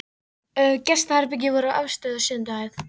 Gestaherbergi voru á efstu eða sjöundu hæð.